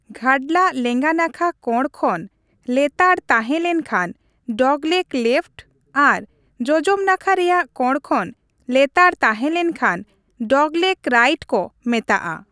ᱜᱷᱟᱰᱞᱟᱜ ᱞᱮᱸᱜᱟ ᱱᱟᱠᱷᱟ ᱠᱚᱬ ᱠᱷᱚᱱ ᱞᱮᱛᱟᱲ ᱛᱟᱦᱮᱸ ᱞᱮᱱᱠᱷᱟᱱ 'ᱰᱚᱜᱽᱞᱮᱜᱽ ᱞᱮᱯᱷᱴ' ᱟᱨ ᱡᱚᱡᱚᱢ ᱱᱟᱠᱷᱟ ᱨᱮᱭᱟᱜ ᱠᱚᱬ ᱠᱷᱚᱱ ᱞᱮᱛᱟᱲ ᱛᱟᱦᱮᱸ ᱞᱮᱱᱠᱷᱟᱱ 'ᱰᱚᱜᱽᱞᱮᱜᱽ ᱨᱟᱭᱤᱴ' ᱠᱚ ᱢᱮᱛᱟᱜᱼᱟ ᱾